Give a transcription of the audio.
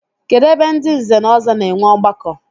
Kedụ ebe ndị nze na ọzọ na-enwe ọgbakọ?